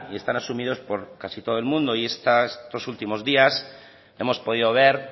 están asumidos por casi todo el mundo y estos dos últimos días hemos podido ver